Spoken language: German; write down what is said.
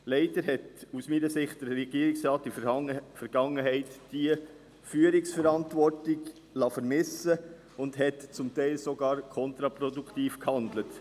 Leider hat der Regierungsrat aus meiner Sicht diese Führungsverantwortung in der Vergangenheit vermissen lassen und hat zum Teil sogar kontraproduktiv gehandelt.